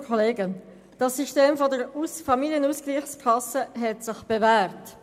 Das System der Familienausgleichskasse hat sich bewährt.